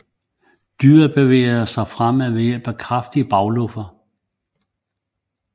Dyret bevæger sig fremad ved hjælp af de kraftige bagluffer